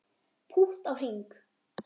Pútt á hring